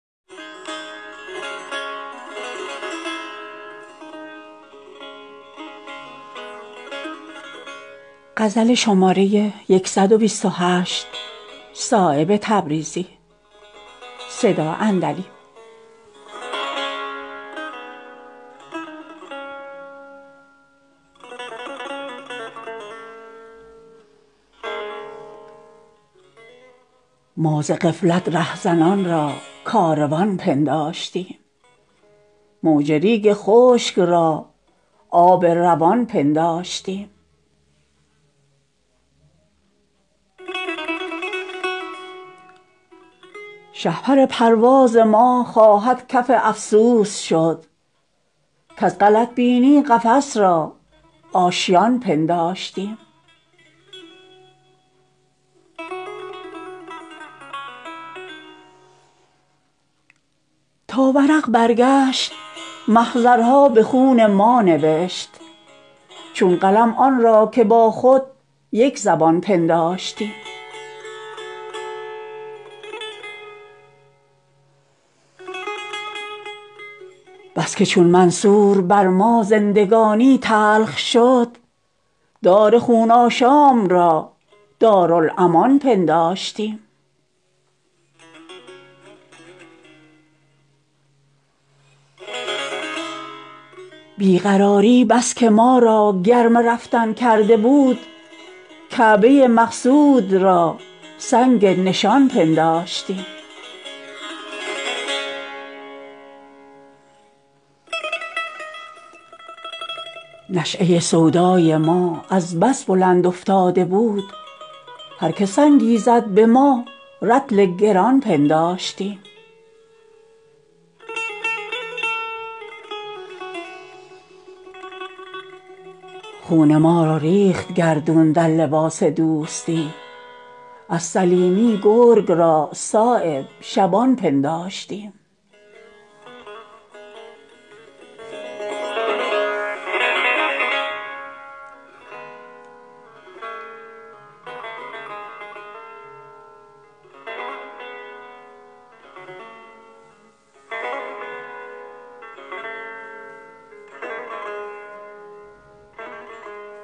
از دل سنگین لیلی کعبه جان ساختند از غبار خاطر مجنون بیابان ساختند زلف کافر کیش او گردی که از دامان فشاند خاکبازان عمارت کافرستان ساختند در سر آن زلف جان عالمی بر باد رفت آب شد دلها چو آن چاه زنخدان ساختند دست شستند از حیات خود به آب زندگی نقد جان جمعی که صرف تیغ جانان ساختند هر کجا دیوانه ای را دید از جا می رود شیشه دل را مگر از سنگ طفلان ساختند می زند موج قیامت سینه های زخم دار زلف مشکین که را دیگر پریشان ساختند گریه زندانی افلاک از هم نگسلد وای بر شمعی که بهر نه شبستان ساختند خضر را زخم نمایان گشت عمر جاودان تیغ سیراب ترا روزی که عریان ساختند در لباس دشمنی کردند با ما دوستی شور چشمانی که داغ ما نمکدان ساختند از هوسناکان حذر کن کاین گروه بی ادب مصر را بر یوسف بی جرم زندان ساختند می توان دامان بوی گل گرفت از دست باد وای بر جمعی که وقت خود پریشان ساختند غافلند از دستگاه مور قانع زیر خاک تنگ چشمانی که با ملک سلیمان ساختند وه چه صیادی که از سهم تو شیران جهان هم زپهلوی نزار خود نیستان ساختند بر لب دریا زشوخی خیمه چون تبخال زد گوهرم را در صدف چندان که پنهان ساختند همچو مژگان سالها دست دعا برداشتم تا مرا بی مدعا چون چشم حیران ساختند اهل دل چون ناامید از دامن مطلب شدند همچو دست غنچه صایب با گریبان ساختند